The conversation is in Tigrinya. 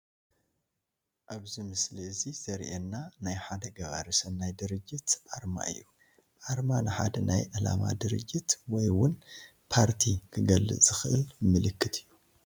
ኣብዚ ምስሊ እዚ ዘሪኤና ናይ ሓደ ገባሪ ሰናይ ድርጅት ኣርማ እዩ፡፡ ኣርማ ንሓደ ናይ ዕላማ ድርጅት ወይ እውን ፓርቲ ክገልፅ ዝኽእል ምልክት እዩ፡፡